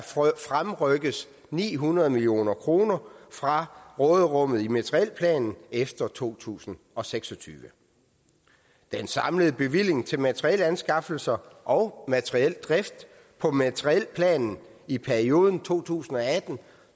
fremrykkes ni hundrede million kroner fra råderummet i materielplanen efter to tusind og seks og tyve den samlede bevilling til materielanskaffelser og materiel drift på materielplanen i perioden to tusind og atten